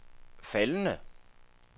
faldende